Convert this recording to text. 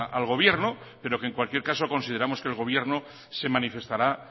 al gobierno pero que en cualquier caso consideramos que el gobierno se manifestará